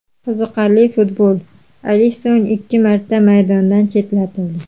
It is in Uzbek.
Qiziqarli futbol: Alisson ikki marta maydondan chetlatildi.